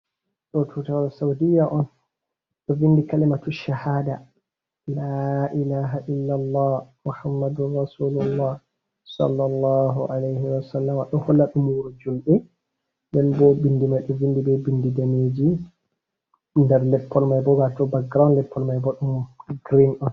Ɗo tutawal sauɗiya on. Ɗo vinɗi kalimatu sahaɗa, la ilaha illa Allah, Muhammaɗun rasulillah, salla Allahu aleihi wa salama. Ɗo holla ɗum wuru jumɓe, ɗen bo binɗi mai ɗo vinɗi ɓe ɓinɗi nɗaneji nɗer latpol mai ɓo, wato baggiraud leppol mai ɓo ɗun girin on.